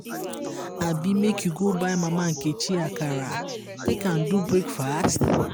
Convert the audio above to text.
abi make you go buy mama nkechi akara take am do breakfast?